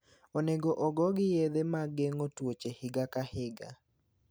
Onego ogogi yedhe mag geng'o tuoche higa ka higa.